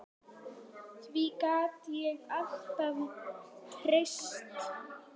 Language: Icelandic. Því gat ég alltaf treyst.